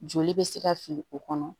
Joli bɛ se ka fili o kɔnɔ